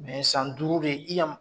san duuru de i ya